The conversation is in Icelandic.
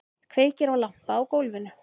Kveikir á lampa á gólfinu.